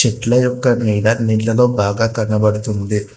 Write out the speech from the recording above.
చెట్ల యొక్క నీడ నీళల్లో బాగ కనబడుతుంది.